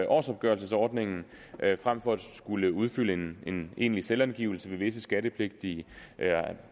årsopgørelsesordningen frem for at skulle udfylde en en egentlig selvangivelse visse skattepligtige